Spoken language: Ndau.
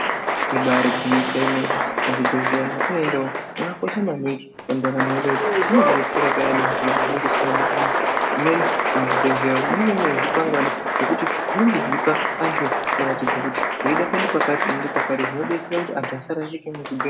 Ibaari gwinyiso yemene, muzvibhedhlera mwetinoenda umwu mwakakosha maningi mundaramo yedu munotidetsera payani zviro pezvinoga zvisina kumira mushe, zvimweni muzvibhedhlera umwu munenge mune zvikwangwani zvokuti zvinge zvechipa antu kuratidze kuti weide kuende kwakati woende kwakati zveidetsera kuti antu asarashike muzvibhe..